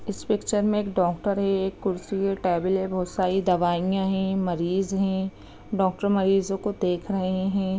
इस पिक्चर में एक डॉक्टर है एक कुर्सी है टेबुल है बहुत सारी दवाइया है मरीज है डॉक्टर मरीजों को देख रहे है।